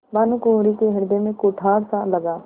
भानुकुँवरि के हृदय में कुठारसा लगा